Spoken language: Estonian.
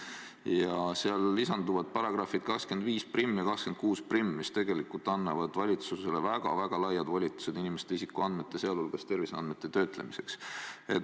Hädaolukorra seadusse lisanduvad §-d 251 ja 261, mis tegelikult annavad valitsusele väga laiad volitused inimeste isikuandmete, sealhulgas terviseandmete töötlemiseks.